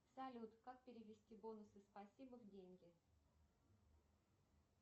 салют как перевести бонусы спасибо в деньги